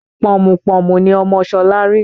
Pọ̀mùpọ̀mù ni ọmọ Ṣọlá rí